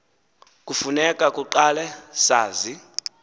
kufuneka kuqala sazi